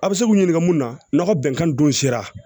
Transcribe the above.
A bɛ se k'u ɲininka mun na n'o bɛnkan dun sera